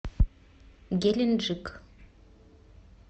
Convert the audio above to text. геленджик